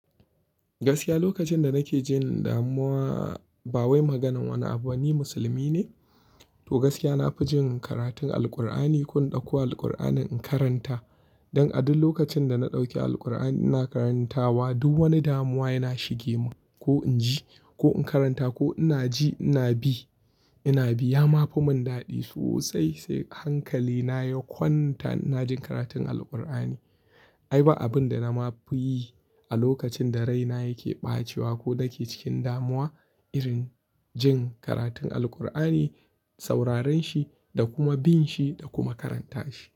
Gaskiya lokacin da nake jin damuwa, bawai maganan wani abu ni musulmi ne. To gaskiya na fi jin karatun Alkur'ani ko in ɗauko Alkur'anin in karanta. Don a duk lokacin da na ɗauki Alkur'ani ina karantawa, duk wani damuwa yana shige mun ko in ji ko in karanta ko ina ji ina bi ina bi. Ya ma fi mun daɗi sosai sai hankali na ya kwanta ina jin karatun Alkur'ani. Ai ba abin da na ma fi yi a lokacin da raina yake ɓacewa ko nake cikin damuwa irin jin karatun Alkur'ani, sauraren shi da kuma bin shi da kuma karanta shi.